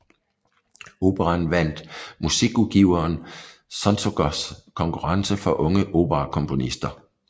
Operaen vandt musikudgiveren Sonzognos konkurrence for unge operakomponister